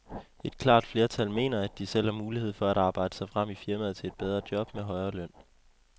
Et klart flertal mener, at de selv har mulighed for at arbejde sig frem i firmaet til et bedre job med højere løn.